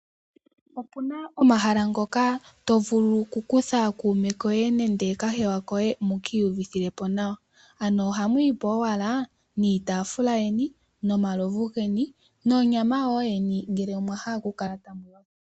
Opuna omahala ngoka tovulu okukutha kuume koye nenge kahewa koye muka iyuvithe nawa, ano ohamu ipo owala niitaafula yeni, nomalovu geni nonyama woo yeni ngele omwahala okukala pamwe nawa.